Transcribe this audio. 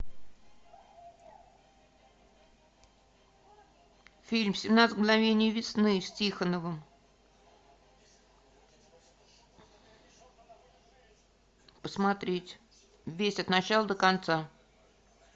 фильм семнадцать мгновений весны с тихоновым посмотреть весь от начала до конца